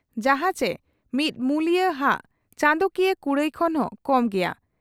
ᱡᱟᱦᱟᱸ ᱪᱮ ᱢᱤᱫ ᱢᱩᱞᱤᱭᱟᱹ ᱦᱟᱜ ᱪᱟᱸᱫᱚᱠᱤᱭᱟᱹ ᱠᱩᱲᱟᱹᱭ ᱠᱷᱚᱱ ᱦᱚᱸ ᱠᱚᱢ ᱜᱮᱭᱟ ᱾